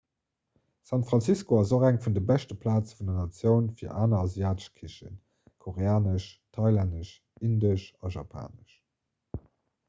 san francisco ass och eng vun de beschte plaze vun der natioun fir aner asiatesch kichen koreanesch thailännesch indesch a japanesch